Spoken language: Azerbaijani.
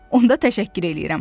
Onda təşəkkür eləyirəm.